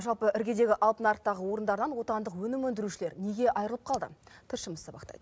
жалпы іргедегі алтын нарықтағы орындардан отандық өнім өндірушілер неге айырылып қалды тілшіміз сабақтайды